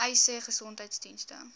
uys sê gesondheidsdienste